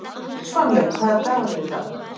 Svanlaug, hvaða dagur er í dag?